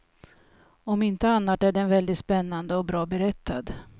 Om inte annat är den väldigt spännande och bra berättad.